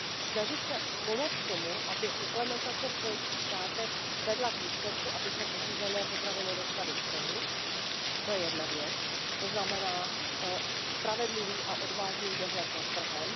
Snažit se pomoct tomu, aby implementace v členských státech vedla k výsledku, abychom ošizené potraviny dostali z trhu, to je jedna věc, to znamená spravedlivý a odvážný dohled nad trhem.